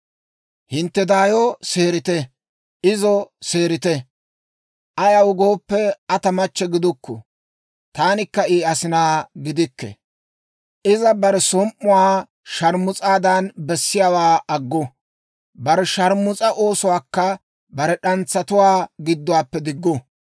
«Hintte daayo seerite; izo seerite. Ayaw gooppe, Aa ta machche gidukku; taanikka I asinaa gidikke. Iza bare som"uwaa sharmus'aadan bessiyaawaa aggu; bare sharmus'a oosuwaakka bare d'antsatuwaa gidduwaappe diggu.